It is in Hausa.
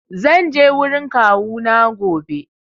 Zan je wurin kawuna gobe.